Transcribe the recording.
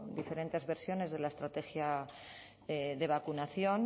diferentes versiones de la estrategia de vacunación